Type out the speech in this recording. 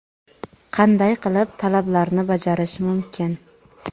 qanday qilib talablarni bajarish mumkin?.